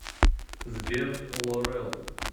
сбер лорел